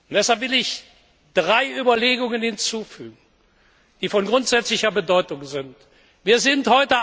Deshalb will ich drei Überlegungen hinzufügen, die von grundsätzlicher Bedeutung sind.